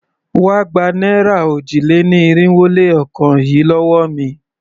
Wá gba náírà òjì-lé-ní-irinwó-lé-ọ̀kan yìí lówó mi!